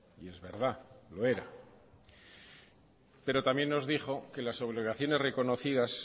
y es verdad lo era pero también nos dijo que las obligaciones reconocidas